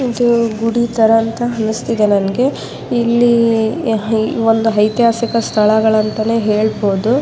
ಇದು ಗುಡಿ ತರ ಅಂತ ಅನ್ನಿಸ್ತಿದೆ ನಂಗೆ ಇಲ್ಲಿ ಒಂದು ಐತಿಹಾಸಿಕ ಸ್ತಳಗಳಂತ ಹೇಳ್ಬಹುದು.